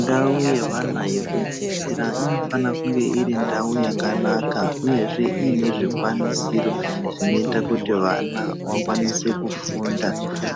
Ndau yevana yekudzidzira inofana kunge iri ndau yakanaka uyezve iine zvikwanisiro inoita kuti vana vakwanise kufunda